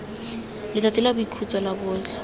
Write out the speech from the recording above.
letsatsi la boikhutso la botlhe